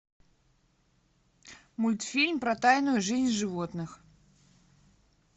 мультфильм про тайную жизнь животных